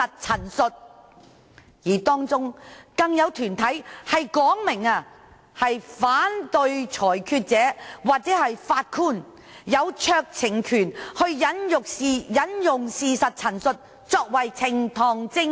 此外，當中更有團體表示反對裁斷者或法官擁有酌情權以引用事實陳述作為呈堂證供。